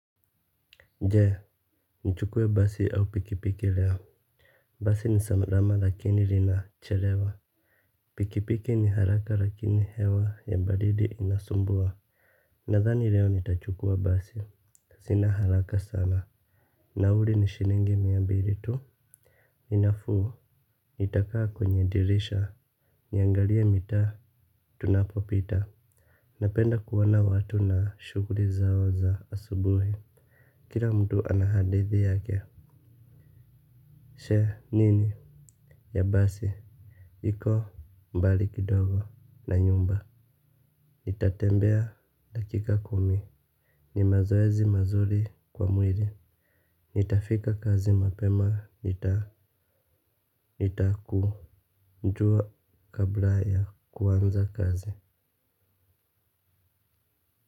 Je, nichuke basi au pikipiki leo. Basi ni saesma lakini rinachelewa. Pikipiki ni haraka lakini hewa ya badidi inasumbua. Nadhani leo nitachukua basi. Sina haraka sana. Nauli ni shiningi mia mbiri tu. Inafu. Itakaa kwenye dirisha. Niangalie mitaa tunapopita. Napenda kuona watu na shughuli zao za asubuhi. Kira mtu ana hadithi yake. Sheh nini. Ya basi, hiko mbali kidogo na nyumba. Nitatembea dakika kumi. Ni mazoezi mazuri kwa mwiri. Nitafika kazi mapema, nitaku. Jua kabla ya kuanza kazi.